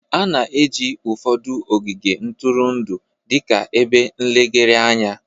A na-eji ụfọdụ ogige ntụrụndụ dị ka ebe nlegharị anya